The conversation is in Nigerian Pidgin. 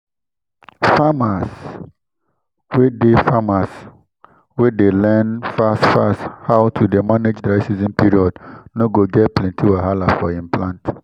farmers wey dey farmers wey dey learn fast fast how to dey manage dry season period no go get plenti wahala for him plant